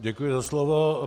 Děkuji za slovo.